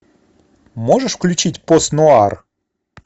можешь включить пост нуар